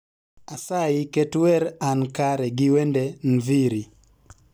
Asayi ket wer an kare gi wende nviiri